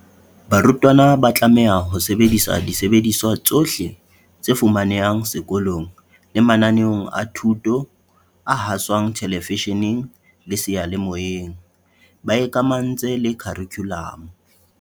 Barutwana ba tlameha ho sebedisa disebediswa tsohle tse fumanehang seko long le mananeong a thuto a haswang thelevishe neng le seyalemoyeng, ba ikamahantse le kharikhu lamo.